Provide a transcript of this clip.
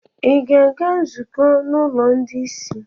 Ị̀ ga-aga nzukọ n’ụlọ ndị ìsì?